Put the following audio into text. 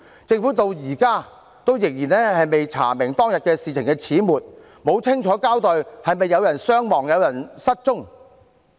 政府至今仍未查明當天事情的始末，也沒有清楚交代是否有人傷亡、有人失蹤。